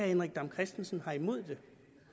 henrik dam kristensen har noget imod